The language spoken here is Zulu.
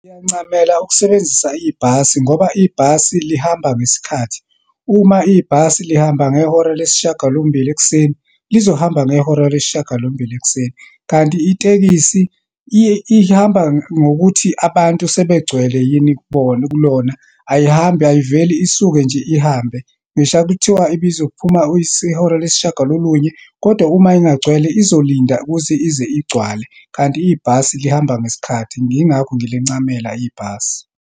Ngiyancamela ukusebenzisa ibhasi, ngoba ibhasi lihamba ngesikhathi. Uma ibhasi lihamba ngehora lesishiyagalombili ekuseni, lizohamba ngehora lesishiyagalombili ekuseni. Kanti itekisi iye ihamba ngokuthi abantu sebegcwele yini kubona, kulona. Ayihambi, ayiveli, isuke nje ihambe ngisho kuthiwa ibizophuma ihora lesishiyagalolunye kodwa uma ingagcwele, uzolinda ukuze ize igcwale. Kanti ibhasi lihamba ngesikhathi, yingakho ngilincamela ibhasi.